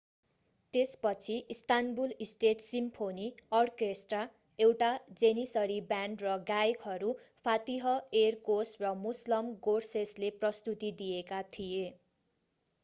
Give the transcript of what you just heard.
त्यसपछि Istanbul state symphony orchestra एउटा Janissary band र गायकहरू फातिह एरकोस र मुसलम गोर्सेसले प्रस्तुति दिएका थिए